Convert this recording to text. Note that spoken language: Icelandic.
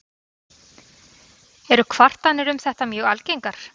Eru kvartanir um þetta mjög algengar.